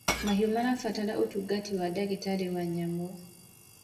mahiũ marabatara ũtungata wa ndagitari wa nyamũ